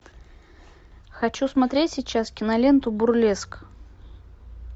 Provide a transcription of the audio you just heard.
хочу смотреть сейчас киноленту бурлеск